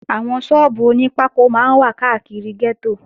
Àwọn sọ́ọ́bù oní pákó máa ń wà káàkiri gẹ́tò